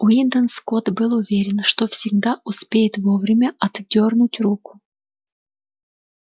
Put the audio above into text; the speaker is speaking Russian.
уидон скотт был уверен что всегда успеет вовремя отдёрнуть руку